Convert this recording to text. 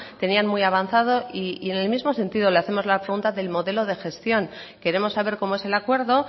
tenían muy avanzado y en el mismo sentido le hacemos la pregunta del modelo de gestión queremos saber cómo es el acuerdo